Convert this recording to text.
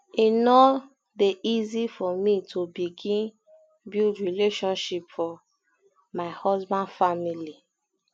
e no um dey easy for me to begin um build relationship for relationship for my husband family um